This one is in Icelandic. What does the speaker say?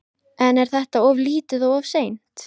En er þetta of lítið og of seint?